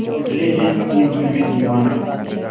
निकले है अपनी धुन में दीवाना